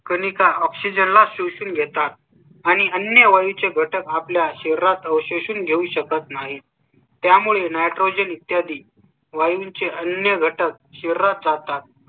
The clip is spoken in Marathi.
कणिका oxygen, oxygen शोषून घेतात आणि अन्य वाढीचे घटक आपल्या शहरात अवशेष घेऊ शकत नाही. त्यामुळे nitrogen इत्यादी वायू चे अन्य घटक शरीरात जातात